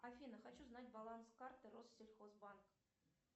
афина хочу знать баланс карты россельхоз банк